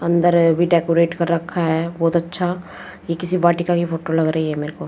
अंदर भी डेकोरेट कर रखा है बहोत अच्छा ये किसी वाटिका की फोटो लग रही है मेरे को --